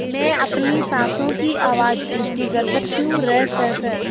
मैं अपनी साँसों की आवाज़ ऊँची कर सकती हूँ रसस